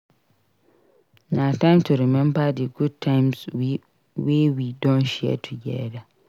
Na time to remember di good times wey we don share together.